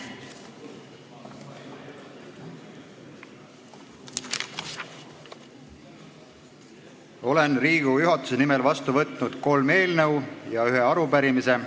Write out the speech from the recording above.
Olen Riigikogu juhatuse nimel vastu võtnud kolm eelnõu ja ühe arupärimise.